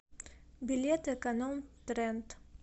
билет эконом тренд